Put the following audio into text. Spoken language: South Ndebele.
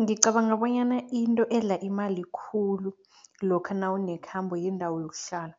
Ngicabanga bonyana into edla imali khulu lokha nawunekhambo, yindawo yokuhlala